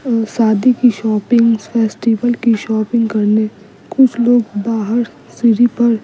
अ शादी की shopping festival की शॉपिंग करने कुछ लोग बाहर सिरी पर --